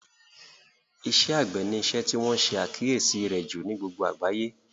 Iṣẹ́ àgbẹ̀ ni isẹ́ tí wọ́n ṣe àkíyèsí rẹ̀ jù ní gbogbo àgbáyé